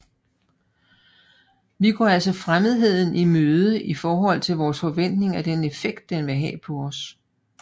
Vi går altså fremmedheden i møde i forhold til vores forventning af den effekt den vil have på os